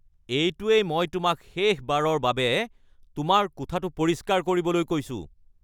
এইটোৱেই মই তোমাক শেষবাৰৰ বাবে তোমাৰ কোঠাটো পৰিষ্কাৰ কৰিবলৈ কৈছো।